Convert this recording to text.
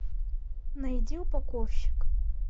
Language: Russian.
найди упаковщик